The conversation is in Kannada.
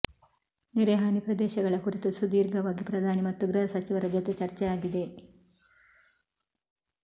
ನೆರೆ ಹಾನಿ ಪ್ರದೇಶಗಳ ಕುರಿತು ಸುದೀರ್ಘವಾಗಿ ಪ್ರಧಾನಿ ಮತ್ತು ಗೃಹಸಚಿವರ ಜೊತೆ ಚರ್ಚೆ ಆಗಿದೆ